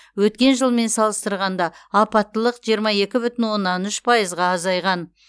өткен жылмен салыстырғанда апаттылық жиырма екі бүтін оннан үш пайызға азайған